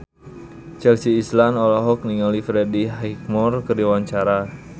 Chelsea Islan olohok ningali Freddie Highmore keur diwawancara